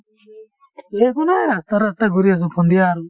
একো নাই ৰাস্তাই ৰাস্তাই ঘূৰি আছো সন্ধিয়া আৰু